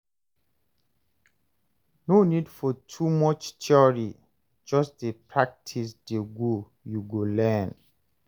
No need for too much theory, just dey practice dey go you go learn.